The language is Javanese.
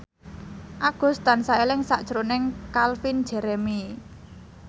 Agus tansah eling sakjroning Calvin Jeremy